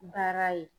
Baara ye